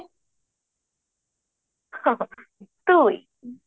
ଦୁଇ